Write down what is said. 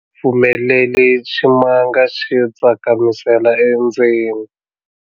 Pfumeleli ximanga xi tsakamisela endzeni.